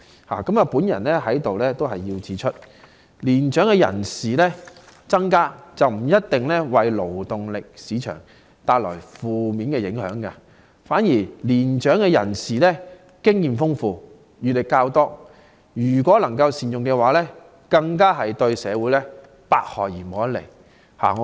我想指出，年長人口增加不一定為勞動力市場帶來負面影響，反之年長人士經驗豐富、閱歷較多，如能善用，對社會更是百利而無一害。